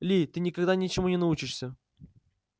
ли ты никогда ничему не научишься